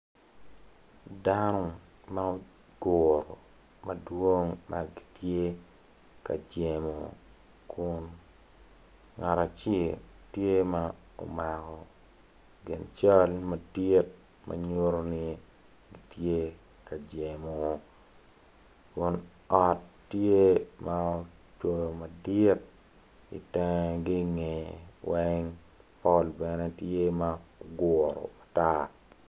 Dano ma gugure madwong ma gitye ka jemo kun ngat acel tye ma omako gin cal madit ma nyuto ni gitye ka jemo kun ot tye ma ki cweyo madit itengegini weng pol bene tye ma ogure matar